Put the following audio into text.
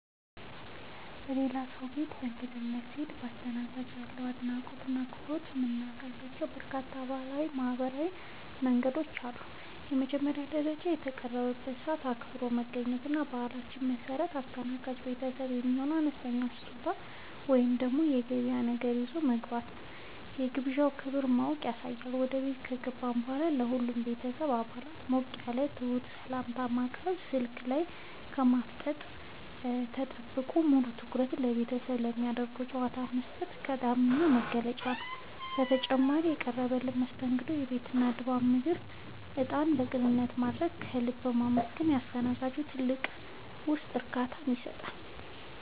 የሌላ ሰው ቤት በእንግድነት ስንሄድ ለአስተናጋጆቻችን ያለንን አድናቆትና አክብሮት የምናሳይባቸው በርካታ ባህላዊና ማኅበራዊ መንገዶች አሉ። በመጀመሪያ ደረጃ፣ የተቀጠረበትን ሰዓት አክብሮ መገኘት እና በባህላችን መሠረት ለአስተናጋጅ ቤተሰቡ የሚሆን አነስተኛ ስጦታ ወይም የገበያ ነገር ይዞ መግባት የግብዣውን ክብር ማወቅን ያሳያል። ወደ ቤት ከገባን በኋላም ለሁሉም የቤተሰብ አባላት ሞቅ ያለና ትሑት ሰላምታ ማቅረብ፣ ስልክ ላይ ከማፍጠጥ ተቆጥቦ ሙሉ ትኩረትን ለቤተሰቡና ለሚደረገው ጨዋታ መስጠት ቀዳሚው መገለጫ ነው። በተጨማሪም፣ የቀረበልንን መስተንግዶ፣ የቤቱን ድባብና የምግቡን ጣዕም በቅንነት ማድነቅና ከልብ ማመስገን ለአስተናጋጆቹ ትልቅ የውስጥ እርካታን ይሰጣል።